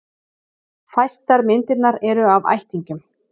Fæstar myndirnar eru af ættingjum.